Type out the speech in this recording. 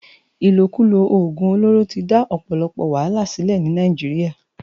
Ilókúló ógún ólóró ti dá òpòlòpò wàhálá silè ni Nàijiriá